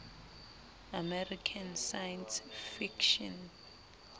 american science fiction